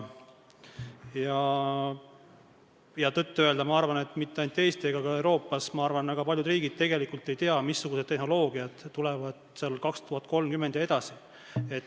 Tõtt-öelda ma arvan, et mitte ainult Eestis ega ka Euroopas, vaid ka mujal väga paljud riigid tegelikult ei tea, missugused tehnoloogiad tulevad aastal 2030 ja edasi.